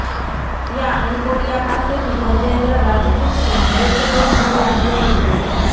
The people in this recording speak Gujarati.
જ્યાં અંકોડિયા પાસેથી ધર્મેન્દ્ર રાજપૂતનો મૃતદેહ મળી આવ્યો હતો